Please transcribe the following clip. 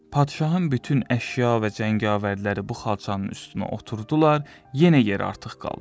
Padşahın bütün əşya və cəngavərləri bu xalçanın üstünə oturdular, yenə yeri artıq qaldı.